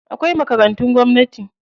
Akwai makarantun gwamnati.